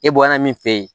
E bɔra min fɛ yen